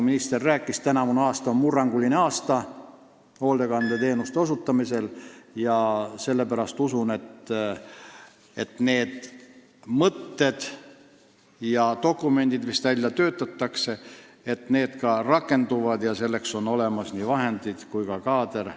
Minister rääkis, et tänavu on murranguline aasta hoolekandeteenuste osutamisel, sellepärast usun, et need mõtted ja dokumendid, mis välja töötatakse, ka rakenduvad ning et selleks on olemas nii vahendid kui ka kaader.